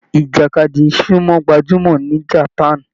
Ìjàkadì sumo gbájúmọ́ ni japan.